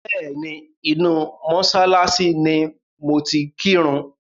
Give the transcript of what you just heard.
Bẹ́ẹ̀ni, inú mọ́ṣáláṣí ni mo ti kírun.